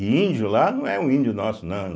E índio lá não é um índio nosso, não.